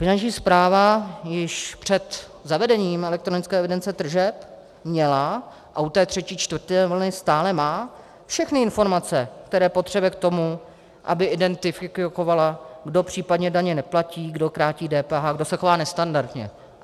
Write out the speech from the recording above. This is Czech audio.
Finanční správa již před zavedením elektronické evidence tržeb měla a u té třetí a čtvrté vlny stále má všechny informace, které potřebuje k tomu, aby identifikovala, kdo případně daně neplatí, kdo krátí DPH, kdo se chová nestandardně.